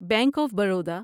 bank of Baroda